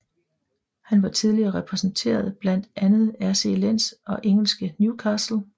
Han har tidligere repræsenteret blandt andet RC Lens og engelske Newcastle